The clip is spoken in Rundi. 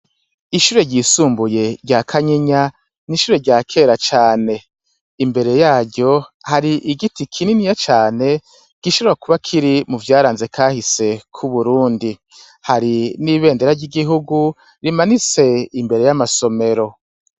Ishure ryisumbuye rya kanyinya n'ishure rya kera cane imbere yaryo hari igiti kininiya cane gisharwa kuba kiri mu vyaranze kahise kouburundi hari n'ibendera ry'igihugu rimanitse imbere y'amasomero.